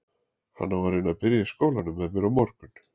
Hann á að reyna að byrja í skólanum með mér á morgun.